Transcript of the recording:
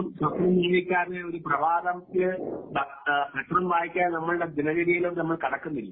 India കാരുടെ ഒരു പ്രഭാതത്തില് പത്രം വായിക്കാതെ നമ്മളുടെ ദിനചരിയായിലോട്ട് നമ്മൾ കടക്കുന്നില്ല.